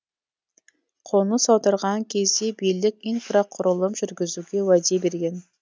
қоныс аударған кезде билік инфрақұрылым жүргізуге уәде берген